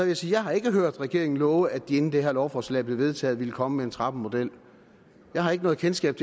jeg sige jeg har ikke hørt regeringen love at de inden det her lovforslag blev vedtaget ville komme med en trappemodel jeg har ikke noget kendskab